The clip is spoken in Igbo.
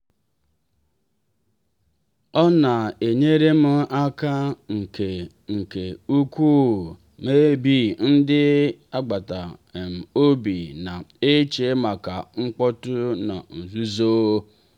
ọ na-enyere m aka nke nke ukwuu maybe ndị agbata um obi na-eche maka mkpọ́tụ na nzúzo.